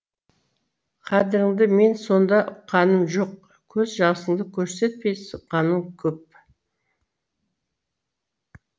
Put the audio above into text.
қадіріңді мен сонда ұққаным жоқ көз жасыңды көрсетпей сыққаның көп